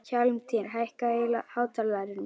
Hjálmtýr, hækkaðu í hátalaranum.